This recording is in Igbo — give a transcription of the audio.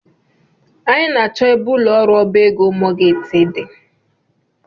Anyị na -achọ ebe ụlọ ọrụ ọbá égo mọọgeeji dị.